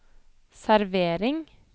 servering